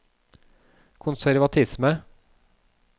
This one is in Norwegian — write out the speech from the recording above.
konservatisme